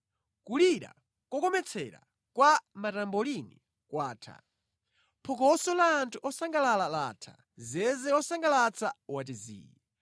Kulira kokometsera kwa matambolini kwatha, phokoso la anthu osangalala latha, zeze wosangalatsa wati zii.